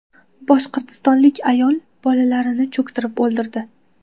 Boshqirdistonlik ayol bolalarini cho‘ktirib o‘ldirdi.